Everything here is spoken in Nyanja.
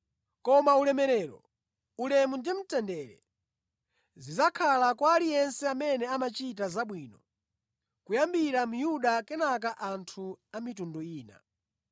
Koma ulemerero, ulemu ndi mtendere zidzakhala kwa aliyense amene amachita zabwino, kuyambira Myuda kenaka anthu a mitundu ina.